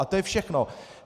A to je všechno.